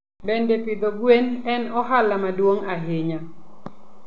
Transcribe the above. Bende, pidho gwen en ohala maduong' ahinya.